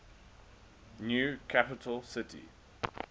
new capital city